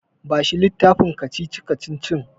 Bashi littafin kacici-kacicicin.